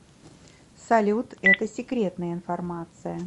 салют это секретная информация